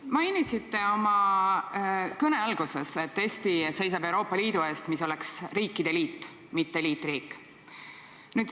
Te mainisite oma kõne alguses, et Eesti seisab Euroopa Liidu eest, mis oleks riikide liit, mitte liitriik.